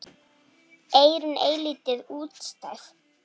Eyrun eilítið útstæð.